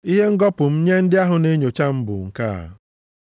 Ihe ngọpụ m nye ndị ahụ na-enyocha m bụ nke a.